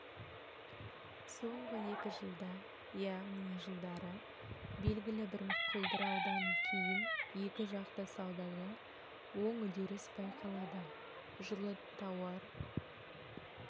соңғы екі жылда яғни жылдары белгілі бір құлдыраудан кейін екіжақты саудада оң үдеріс байқалады жылы тауар